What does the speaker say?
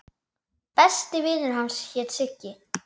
Besti vinur hans hét Siggi.